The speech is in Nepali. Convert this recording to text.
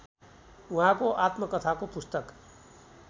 उहाँको आत्मकथाको पुस्तक